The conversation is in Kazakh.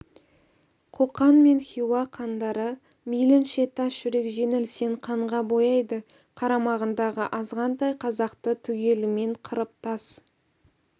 қоқан мен хиуа хандары мейлінше тас жүрек жеңілсең қанға бояйды қарамағындағы азғантай қазақты түгелімен қырып тас